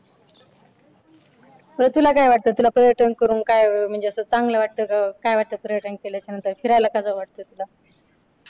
तर तुला काय वाटतं तुला पर्यटन करून काय म्हणजे असं चांगलं वाटतं. का काय वाटतं. फिरायला का जाऊ वाटतं तुला